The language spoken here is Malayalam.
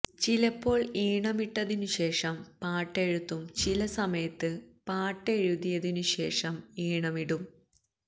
ചിലപ്പോൾ ഈണമിട്ടതിനു ശേഷം പാട്ടെഴുതും ചില സമയത്ത് പാട്ടെഴുതിയതു ശേഷം ഈണമിടും